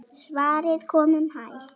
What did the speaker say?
Svarið kom um hæl.